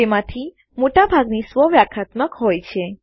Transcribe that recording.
તેમાંથી મોટા ભાગની સ્વવ્યાખ્યાત્મક હોય છે